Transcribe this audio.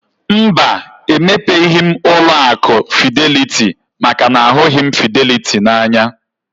Mba, emepeghi m ụlọ akụ fideliti maka na ahụghị m fideliti n'anya